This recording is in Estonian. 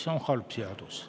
See on halb seadus.